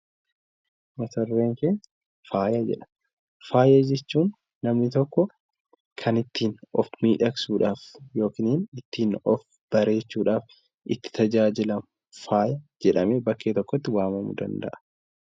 Faaya jechuun kan namni tokko ittiin of miidhagsuudhaaf ittiin of bareechuufhaaf itti tajaajilamu jechuudha